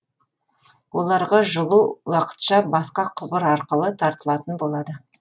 оларға жылу уақытша басқа құбыр арқылы тартылатын болады